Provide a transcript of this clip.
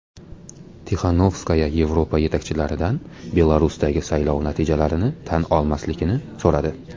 Tixanovskaya Yevropa yetakchilaridan Belarusdagi saylov natijalarini tan olmaslikni so‘radi.